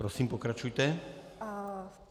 Prosím, pokračujte.